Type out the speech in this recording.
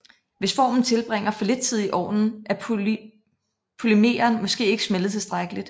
Hvis formen tilbringer for lidt tid i ovnen er polymeren måske ikke smeltet tilstrækkeligt